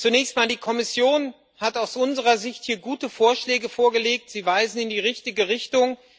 Zunächst einmal Die Kommission hat aus unserer Sicht hier gute Vorschläge vorgelegt sie weisen in die richtige Richtung.